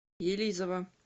елизово